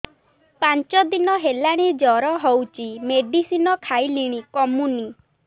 ପାଞ୍ଚ ଦିନ ହେଲାଣି ଜର ହଉଚି ମେଡିସିନ ଖାଇଲିଣି କମୁନି